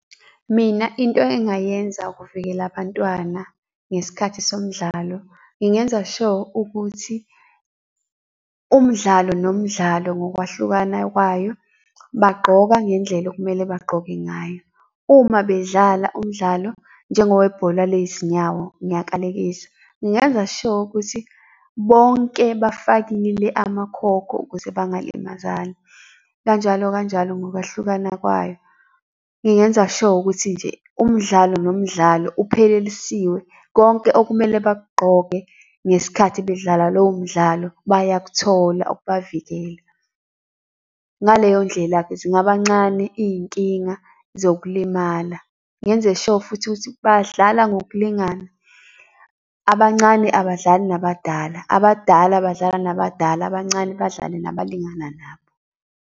Mina into engayenza ukuvikela bantwana ngesikhathi somdlalo ngingenza sure ukuthi umdlalo, nomdlalo ngokwahlukana kwayo bagqoka ngendlela okumele bagqoke ngayo. Uma bedlala umdlalo njengowebhola lezinyawo, ngiyakalekisa, ngingenza sure ukuthi bonke bafakile amakhokho ukuze bangalimazani, kanjalo, kanjalo ngokwahlukana kwayo. Ngingenza sure ukuthi nje umdlalo, nomdlalo uphelelisiwe. Konke okumele bakugqoke ngesikhathi bedlala lowo mdlalo bayakuthola okubavikela. Ngaleyo ndlela-ke zingabi kancane iy'nkinga zokulimala. Ngenze sure futhi ukuthi badlala ngokulingana, abancane abadlali nabadala, abadala badlala nabadala, abancane badlale nabalingana nabo.